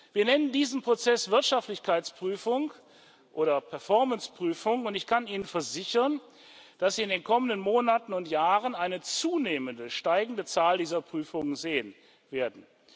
Wir nennen diesen Prozess Wirtschaftlichkeitsprüfung oder Performance Prüfung, und ich kann Ihnen versichern, dass Sie in den kommenden Monaten und Jahren eine zunehmend steigende Zahl dieser Prüfungen sehen werden.